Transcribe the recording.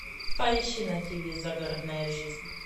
поищи на тв загородная жизнь